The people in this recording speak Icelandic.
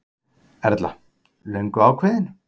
Erla: Löngu ákveðinn?